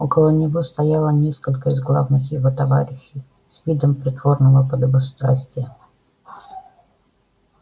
около него стояло несколько из главных его товарищей с видом притворного подобострастия